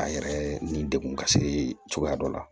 A yɛrɛ ni degun ka se cogoya dɔ la